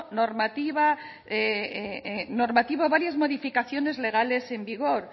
normativo varias modificaciones legales en vigor